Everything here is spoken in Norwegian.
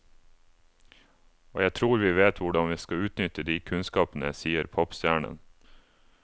Og jeg tror vi vet hvordan vi skal utnytte de kunnskapene, sier popstjernen.